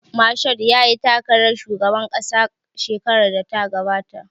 Mashood yayi takarar shugaban ƙasa shekarar da ta gabata